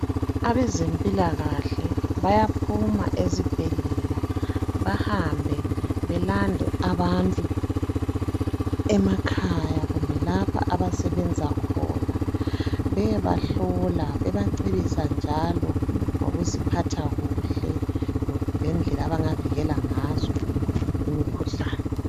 Abaze mpilakahle bayaphuma ezibhedlela bahambe belande abantu emakhaya kumbe lapho abasebenza khona beyebahlola bebacebisa njalo ngokuziphatha kuhle lendlela abangavikela ngazo imikhuhlane